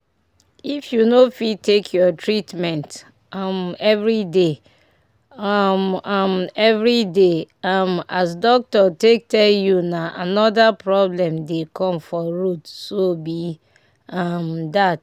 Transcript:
if you no fit take your treatment um everyday um um everyday um as doctor take tell you na anoher problem dey come for road so be um dat.